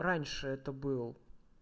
раньше это был